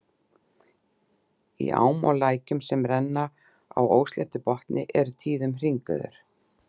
Í ám og lækjum, sem renna á ósléttum botni, eru tíðum hringiður.